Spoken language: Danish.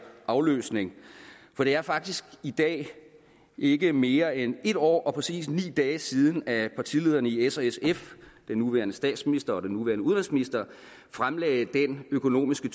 afløsning for det er faktisk i dag ikke mere end en år og præcis ni dage siden at partilederne i s og sf den nuværende statsminister og den nuværende udenrigsminister fremlagde den økonomiske